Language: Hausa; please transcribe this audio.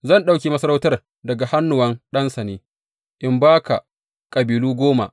Zan ɗauke masarautar daga hannuwan ɗansa ne, in ba ka kabilu goma.